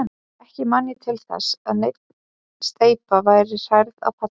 Ekki man ég til þess, að nein steypa væri hrærð á palli.